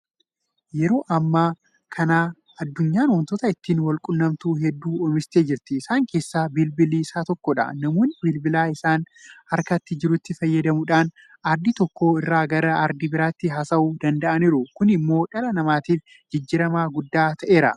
Yeroo ammaa kana addunyaan waantota ittiin walquunnamtu hedduu oomishattee jirti. Isaan keessaa bilbilli isa tokkodha. Namoonni bilbila isaan harka jirutti fayyadamuudhaan Aardii tokko irraa gara aardii biraatti haasa'uu danda'aniiru. Kun immoo dhala namaatiif jijjiirama guddaa ta'eera.